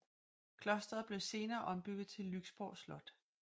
Klosteret blev senere ombygget til Lyksborg Slot